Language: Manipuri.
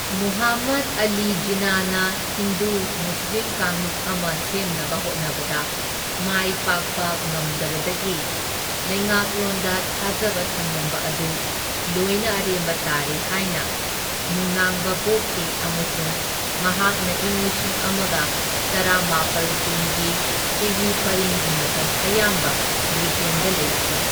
ꯃꯨꯍꯝꯃꯗ ꯑꯂꯤ ꯖꯤꯟꯅꯥꯅ ꯍꯤꯟꯗꯨ ꯃꯨꯁꯂꯤꯝ ꯀꯥꯡꯂꯨꯞ ꯑꯃ ꯁꯦꯝꯅꯕ ꯍꯣꯠꯅꯕꯗ ꯃꯥꯏ ꯄꯥꯛꯄ ꯉꯝꯗꯕꯗꯒꯤ ꯂꯩꯉꯥꯛꯂꯣꯟꯗ ꯊꯥꯖꯕ ꯊꯝꯂꯝꯕ ꯑꯗꯨ ꯂꯣꯏꯅ ꯑꯔꯦꯝꯕ ꯇꯥꯔꯦ ꯍꯥꯏꯅ ꯅꯨꯡꯅꯥꯡꯕ ꯄꯣꯛꯈꯤ, ꯑꯃꯁꯨꯡ ꯃꯍꯥꯛꯅ ꯏꯪ ꯂꯤꯁꯤꯡ ꯑꯃꯒ ꯇꯔꯥꯃꯥꯄꯜ ꯀꯨꯟꯒꯤ ꯆꯍꯤ ꯄꯔꯤꯡꯒꯤ ꯃꯇꯝ ꯑꯌꯥꯝꯕ ꯕ꯭ꯔꯤꯇꯦꯟꯗ ꯂꯩꯈꯤ꯫